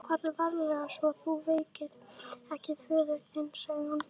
Farðu varlega svo þú vekir ekki föður þinn, sagði hún.